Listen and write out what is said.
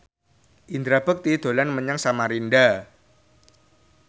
Indra Bekti dolan menyang Samarinda